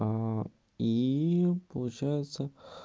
и получается